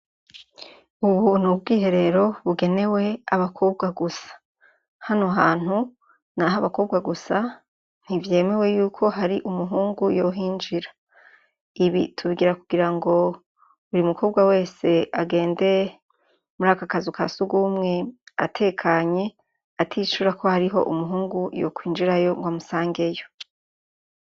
Ubu n'ubwiherero bugenewe abakobwa gusa, hano hantu nahabakobwa gusa ntivyemwe yuko har'umuhungu yohinjira, ibi tubigira kugirango buri mukobwa wese agende muraka kazu kasugumwe atekanye, aticura ko hariho umuhungu yokwinjirayo rw'amusangeyo.